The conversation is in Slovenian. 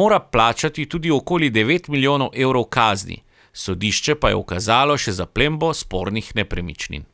mora plačati tudi okoli devet milijonov evrov kazni, sodišče pa je ukazalo še zaplembo spornih nepremičnin.